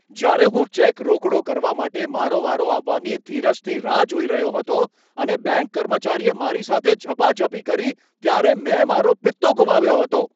જ્યારે હું ચેક રોકડો કરવા માટે મારો વારો આવવાની ધીરજથી રાહ જોઈ રહ્યો હતો અને બેંક કર્મચારીએ મારી સાથે ઝપાઝપી કરી, ત્યારે મેં મારો પિત્તો ગુમાવ્યો હતો.